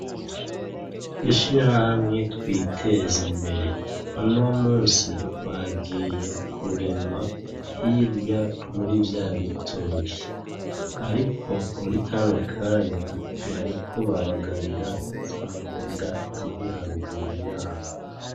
Mwishirahamwe Twiteze imbere, uno munsi bagiye kurima hirya muri vyabitoki. Ariko muri kano kanya, bariko babagarira za mboga ziri haruguru yabo.